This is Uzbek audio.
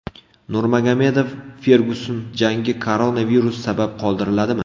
Nurmagomedov Fergyuson jangi koronavirus sabab qoldiriladimi?